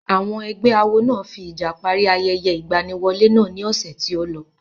Àwọn ẹgbẹ́ awo náà fi ìjà parí ayẹyẹ ìgbaniwọlé náà ní ọ̀sẹ̀ tí ó lọ.